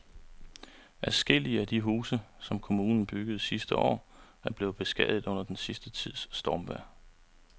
Adskillige af de huse, som kommunen byggede sidste år, er blevet beskadiget under den sidste tids stormvejr.